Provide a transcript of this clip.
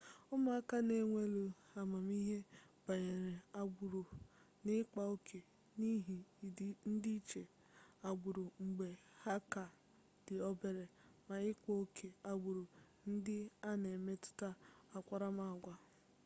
ụmụaka na-ewuli amamihe banyere agbụrụ na ịkpa oke n'ihi ndịiche agbụrụ mgbe ha ka dị obere ma ịkpa oke agbụrụ ndị a na-emetụta akparamaagwa